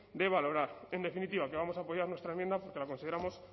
de valorar en definitiva que vamos a apoyar nuestra enmienda porque la consideramos